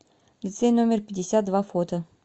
лицей номер пятьдесят два фото